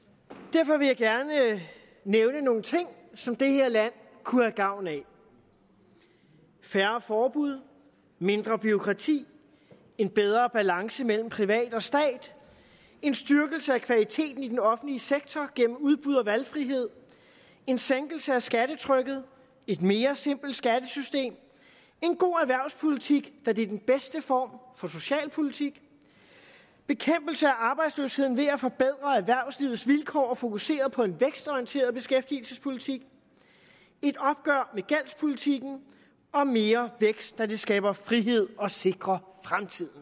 derfor vil jeg gerne nævne nogle ting som det her land kunne have gavn af færre forbud mindre bureaukrati en bedre balance mellem privat og stat en styrkelse af kvaliteten i den offentlige sektor gennem udbud og valgfrihed en sænkelse af skattetrykket et mere simpelt skattesystem en god erhvervspolitik da det er den bedste form for socialpolitik bekæmpelse af arbejdsløsheden ved at forbedre erhvervslivets vilkår og fokusere på en vækstorienteret beskæftigelsespolitik et opgør med gældspolitikken og mere vækst da det skaber frihed og sikrer fremtiden